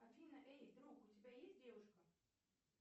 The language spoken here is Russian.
афина эй друг у тебя есть девушка